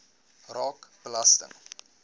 raak belasting